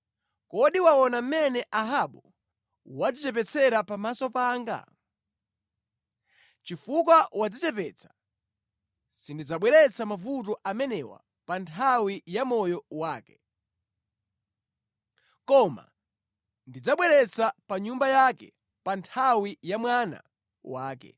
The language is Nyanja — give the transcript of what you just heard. “Kodi waona mmene Ahabu wadzichepetsera pamaso panga? Chifukwa wadzichepetsa, sindidzabweretsa mavuto amenewa pa nthawi ya moyo wake, koma ndidzawabweretsa pa nyumba yake pa nthawi ya mwana wake.”